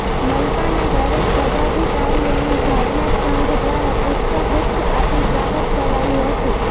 મનપાના દરેક પદાધિકારીઓનું જાગનાથ સંઘ દ્વારા પુષ્પગુચ્છ આપી સ્વાગત કરાયુ હતું